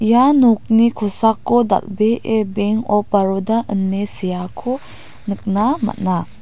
ia nokni kosako dal·bee beng op baroda ine seako nikna man·a.